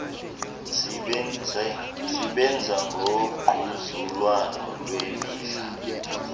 sebenza ngongquzulwano lwemidla